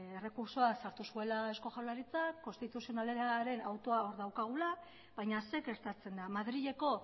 errekurtsoa sartu zuela eusko jaurlaritzak konstituzionalaren autoa hor daukagula baina zer gertatzen da madrileko